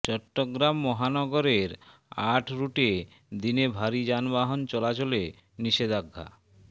চট্টগ্রাম মহানগরের আট রুটে দিনে ভারী যানবাহন চলাচলে নিষেধাজ্ঞা